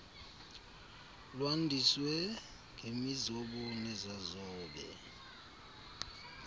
lwandiswe ngemizobo nezazobe